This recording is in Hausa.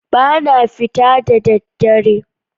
Ba na fita da ɗaddare.